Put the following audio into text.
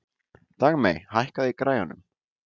Dagmey, hækkaðu í græjunum.